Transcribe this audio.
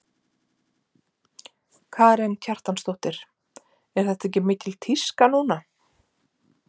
Karen Kjartansdóttir: Er þetta ekki mikil tíska núna?